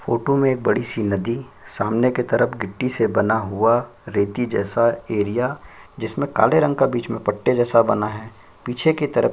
photo में एक बड़ी-सी नदी सामने की तरफ गिट्टी से बना हुआ रेती जैसा एरिया जिसमें काले रंग का बीच में पट्टे जैसा बना है पीछे की तरफ--